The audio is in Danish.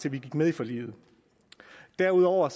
vi gik med i forliget derudover